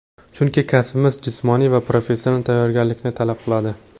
Chunki kasbimiz jismoniy va professional tayyorgarlikni talab qiladi.